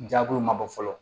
Jaabiw ma bɔ fɔlɔ